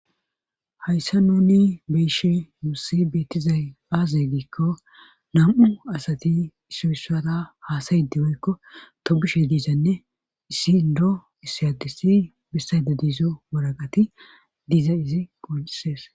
hayssa nuni be'ishin nussi beettizay aaze giikko nam7u asati isoussata haasayidi woykko tobushe diizanne issi ndo iss adisi bissayde diizo waraqati diiza izi qoncises